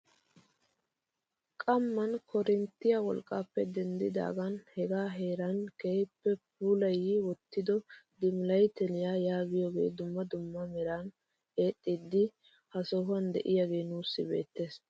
Qammaan korinttiyaa wolqqaappe denddidaagan hegaa heraa keehippe puulayi wottida diimlayttiyaa yaagiyoogee dumma dumma meran eexxiidi ha sohuwaan d'iyaagee nuusi beettees.